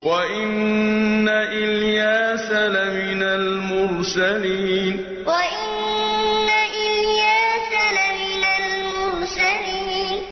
وَإِنَّ إِلْيَاسَ لَمِنَ الْمُرْسَلِينَ وَإِنَّ إِلْيَاسَ لَمِنَ الْمُرْسَلِينَ